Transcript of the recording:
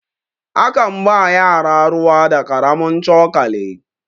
a kan ba yara ruwa da karamin cokali